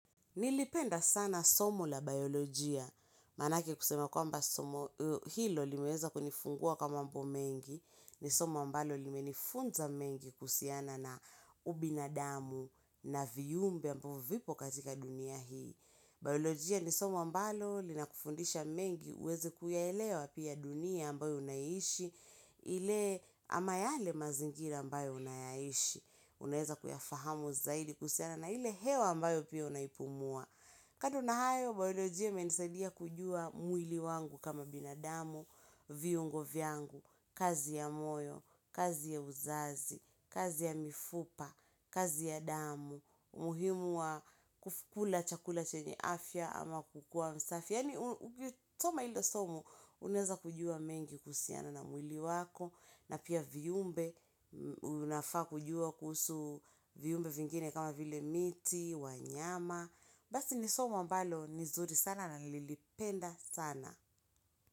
Nilipenda sana somo la biolojia, manake kusema kwamba somo hilo limeweza kunifungua kwa mambo mengi, ni somo ambalo limenifunza mengi kuhusiana na ubinadamu. Na viyumbe ambao vipo katika dunia hii. Biolojia ni soma ambalo linakufundisha mengi uweze kuyaelewa pia dunia ambayo unaishi ile ama yale mazingira ambayo unayaishi. Unaeza kuyafahamu zaidi kuhusiana na ile hewa ambayo pia unaipumua. Kadu na hayo biolojia imenisadia kujua mwili wangu kama binadamu, viungo vyangu, kazi ya moyo, kazi ya uzazi, kazi ya mifupa, kazi ya damu umuhimu wa kukula chakula chenye afya ama kukua msafi yaani utoma ilo somo unaeza kujua mengi kuhusiana na mwili wako na pia viumbe unafaa kujua kuhusu viyumbe vingine kama vile miti, wanyama Basi ni somo ambalo ni zuri sana na nililipenda sana.